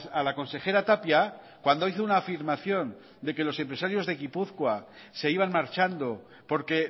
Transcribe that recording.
a la consejera tapia cuando hizo una afirmación de que los empresarios de gipuzkoa se iban marchando porque